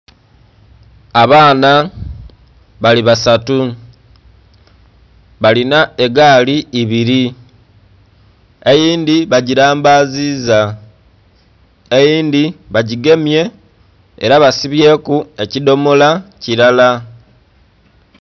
Abaana bali basatu balina egaali ibiri eyindhi bagirambaziza eyindhi bagigemye era basibyeku ekidhomola kirala.